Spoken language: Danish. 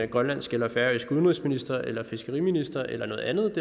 grønlandsk eller færøsk udenrigsminister eller fiskeriminister eller noget andet